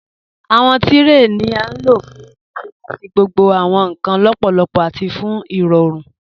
Awọn tirẹ ni a lo fún ṣíṣẹ̀ àti gbogbo awọn nkan lọ́pọlọ́pọ̀ àti fún irọ̀rùn.